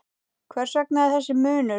Hvers vegna þessi munur?